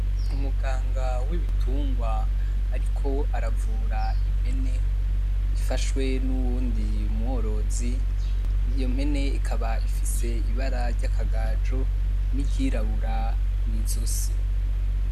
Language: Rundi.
Umuganga wibitungwa ariko aravura impene ifashwe n’uwundi mworozi iyo mpene ikaba ifise ibara ryakagajo N’iryirabura mwizosi.